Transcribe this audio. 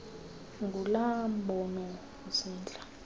ngulaa mbono usentla